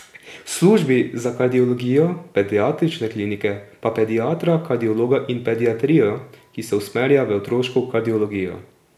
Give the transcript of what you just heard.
V službi za kardiologijo pediatrične klinike pa pediatra kardiologa in pediatrijo, ki se usmerja v otroško kardiologijo.